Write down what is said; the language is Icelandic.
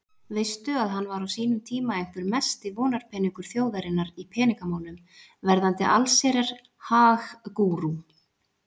Veistu að hann var á sínum tíma einhver mesti vonarpeningur þjóðarinnar í peningamálum, verðandi allsherjar-hag-gúrú.